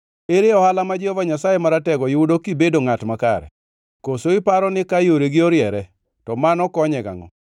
Ere ohala ma Jehova Nyasaye Maratego yudo kibedo ngʼat makare? Koso iparo ni ka yoregi oriere, to mano konye gangʼo?